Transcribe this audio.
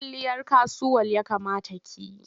Kwalliyar kasuwal ya kamata ki yi.